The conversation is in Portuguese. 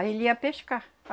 Aí ele ia pescar.